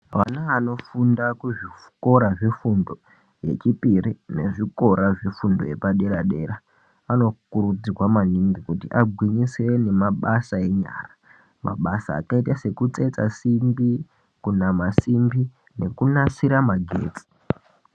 Vana ano funda ku zvikora zve fundo ye chipiri ne zvikora zve fundo yepa dera dera vano kurudzirwa maningi kuti agwinyisire nema basa enyara mabasa akaita seku tsetsa simbi ku nama simbi neku nasira magetsi.